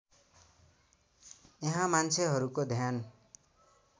यहाँ मान्छेहरूको ध्यान